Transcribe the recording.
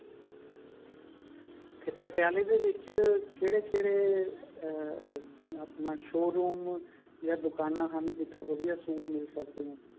ਤੇ ਪਟਿਆਲੇ ਦੇ ਵਿੱਚ ਕਿਹੜੇ ਕਿਹੜੇ ਅਹ ਆਪਣਾ showroom ਜਾ ਦੁਕਾਨਾ ਹਨ ਜਿੱਥੋਂ ਵਧਿਆ suit ਮਿਲ ਸਕਦੇ ਨੇ